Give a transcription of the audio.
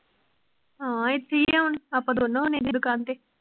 ਹਾਂ ਇਥੇ ਹੀ ਹੈ ਹੁਣ, ਆਪਾਂ ਦੋਨੋ ਹੁੰਨੇ ਆ ਦੁਕਾਨ ਤੇ